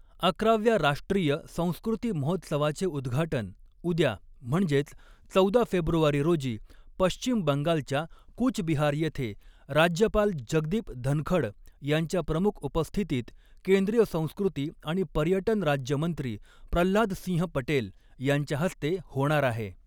अकराव्या राष्ट्रीय संस्कृती महोत्सवाचे उद्घाटन उद्या म्हणजेच चौदा फेब्रुवारी रोजी पश्चिम बंगालच्या कूच बिहार येथे राज्यपाल जगदीप धनख़ड यांच्या प्रमुख उपस्थितीत केंद्रीय संस्कृती आणि पर्यटन राज्यमंत्री प्रह्लाद सिंह पटेल यांच्या हस्ते होणार आहे.